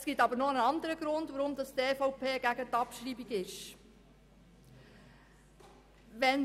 Es gibt aber noch einen anderen Grund, weswegen die EVP-Fraktion gegen die Abschreibung ist.